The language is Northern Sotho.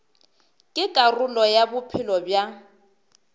ke karolo ya bophelo bja